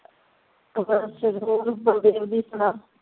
ਬਲਦੇਵ ਦੀ ਸੁਣਾ